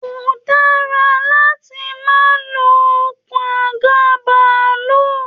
Ko dara láti ma lo okùn àga bàálù!